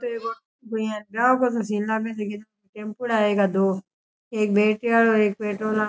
टेम्पूडा है दो एक बैटरी आरो एक पेट्रोल आरो --